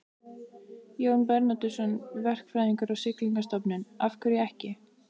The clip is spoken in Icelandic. Jón Bernódusson, verkfræðingur á Siglingastofnun: Af hverju ekki?